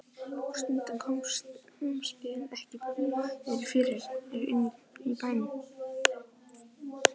Og stundum komust þeir ekki báðir fyrir inni í bænum.